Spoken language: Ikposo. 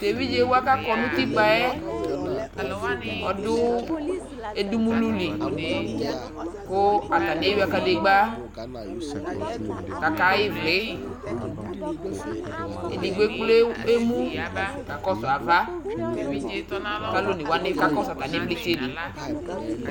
to evidze wa ko akɔ no utikpa yɛ ɔdo edumulu li ko atani ewia kadegba ko aka ɣa ivli edigbo ekple emu kakɔsu ava ko alo one wani kakɔsu atani ivlitsɛ li